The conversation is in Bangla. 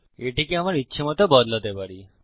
আমি এটিকে আমার ইচ্ছেমত বদলাতে পারি